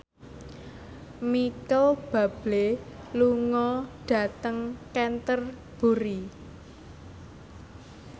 Micheal Bubble lunga dhateng Canterbury